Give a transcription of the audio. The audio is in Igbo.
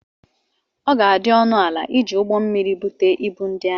Ọ ga-adị ọnụ ala iji ụgbọ mmiri bute ibu ndi ahụ.